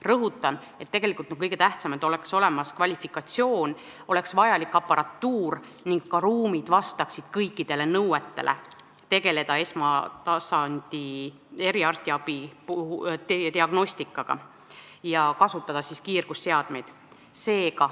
Rõhutan, tegelikult on kõige tähtsam, et oleks olemas kvalifikatsioon ja aparatuur ning ka ruumid vastaksid kõikidele nõuetele, et saaks tegeleda esmatasandi eriarstiabi diagnostikaga ja kasutada kiirgusseadmeid.